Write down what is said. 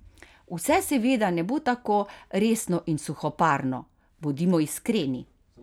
Vse seveda ne bo tako resno in suhoparno: "Bodimo iskreni.